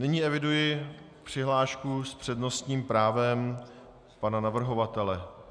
Nyní eviduji přihlášku s přednostním právem pana navrhovatele.